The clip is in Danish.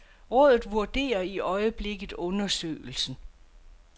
Rådet vurderer i øjeblikket undersøgelsen.